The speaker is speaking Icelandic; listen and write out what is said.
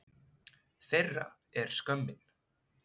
Þeirra er skömmin.